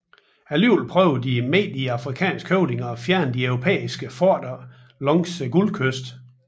Dog prøvede de mægtige afrikanske høvdinger at fjerne de europæiske forter langs hele Guldkysten